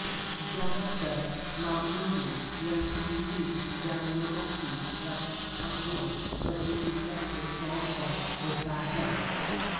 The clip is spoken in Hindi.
ज्यादातर मामलों में यह समुद्री जानवरों की रक्षात्मक प्रतिक्रिया के तौर पर होता है